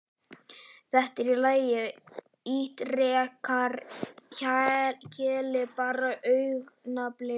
Þetta er allt í lagi, ítrekar Keli, bara augnablik.